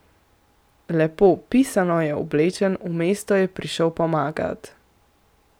Lepo, pisano je oblečen, v mesto je prišel pomagat.